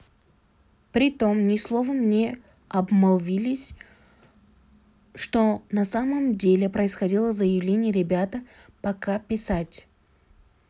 при этом ни словом не обмолвились что на самом деле происходило заявления ребята пока писать